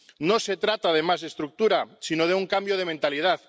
No se trata de más estructuras, sino de un cambio de mentalidad